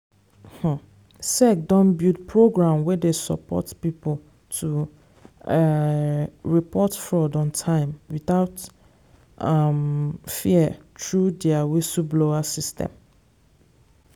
um sec don build program wey support people to um report fraud on time without um fear through their whistleblower system.